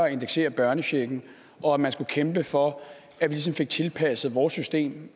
at indeksere børnechecken og at man skulle kæmpe for at vi ligesom fik tilpasset vores system